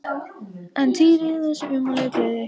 En Týri lét þessi ummæli ekki spilla gleði sinni.